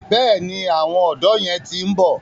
Bẹ́ẹ̀ni, àwọn ọ̀dọ́ yẹn ti ń bọ̀.